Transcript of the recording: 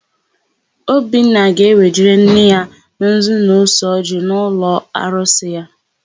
Obinna ga-ewejere nna ya nzu na ose ọjịị n'ụlọarusị ya.